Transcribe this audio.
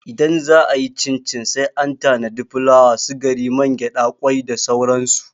Idan za'a yi cincin sai an tanadi fulawa, sigari, mangyaɗa, kwai da sauran su.